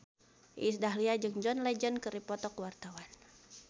Iis Dahlia jeung John Legend keur dipoto ku wartawan